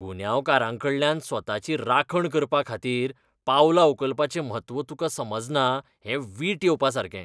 गुन्यांवकारांकडल्यान स्वताची राखण करपाखातीर पावलां उखलपाचें म्हत्व तुकां समजना हें वीट येवपासारकें.